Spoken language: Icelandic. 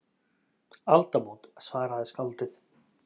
Aldamót, svaraði skáldið.